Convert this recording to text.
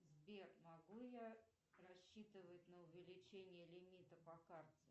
сбер могу я рассчитывать на увеличение лимита по карте